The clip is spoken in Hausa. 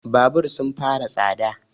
Babur sun fara tsada